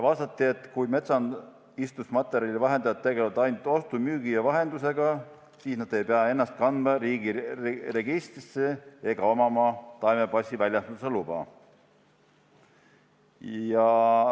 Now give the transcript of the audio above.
Vastati, et kui metsaistutusmaterjali vahendajad tegelevad ainult ostu, müügi ja vahendusega, siis nad ei pea ennast kandma riigi registrisse ega hankima taimepassi väljastamise luba.